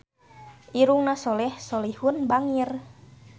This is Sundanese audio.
Irungna Soleh Solihun bangir